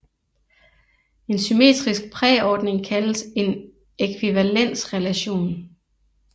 En symmetrisk præordning kaldes en ækvivalensrelation